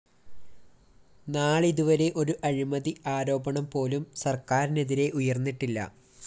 നാളിതുവരെ ഒരു അഴിമതി ആരോപണംപോലും സര്‍ക്കാരിനെതിരെ ഉയര്‍ന്നിട്ടില്ല